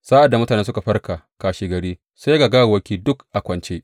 Sa’ad da mutane suka farka kashegari, sai ga gawawwaki duk a kwance!